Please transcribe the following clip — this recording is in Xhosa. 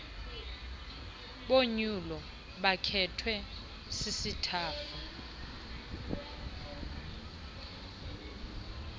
bonyulo bakhethwe sisitafu